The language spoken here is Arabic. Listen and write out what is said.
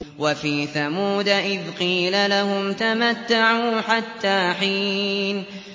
وَفِي ثَمُودَ إِذْ قِيلَ لَهُمْ تَمَتَّعُوا حَتَّىٰ حِينٍ